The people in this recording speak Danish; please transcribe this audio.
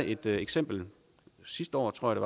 et eksempel sidste år tror jeg